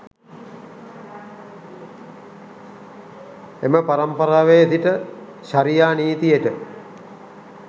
එම පරම්පරාවේ සිට ෂරියා නීතියට